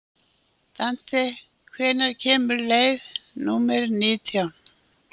Dante, hvenær kemur leið númer nítján?